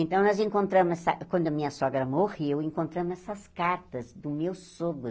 Então, nós encontramos essa, quando a minha sogra morreu, encontramos essas cartas do meu sogro.